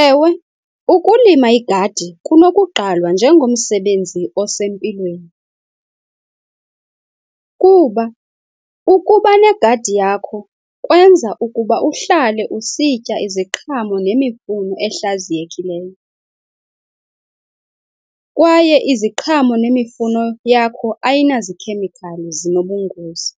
Ewe, ukulima igadi kunokuqalwa njengomsebenzi osempilweni, kuba ukuba negadi yakho kwenza ukuba uhlale usitya iziqhamo nemifuno ehlaziyekileyo, kwaye iziqhamo nemifuno yakho ayinazikhemikhali zinobungozi.